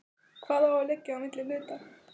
Hvað á að liggja á milli hluta?